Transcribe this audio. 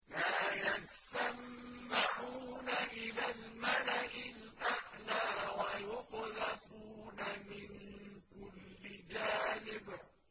لَّا يَسَّمَّعُونَ إِلَى الْمَلَإِ الْأَعْلَىٰ وَيُقْذَفُونَ مِن كُلِّ جَانِبٍ